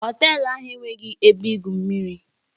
Họtelu ahụ enweghị ebe igwu mmiri